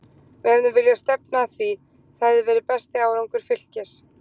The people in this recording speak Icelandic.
Við hefðum viljað stefna að því, það hefði verið besti árangur Fylkis.